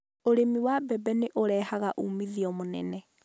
Ũrĩmi wa mbembe nĩ ũrehaga uumithio mũnene.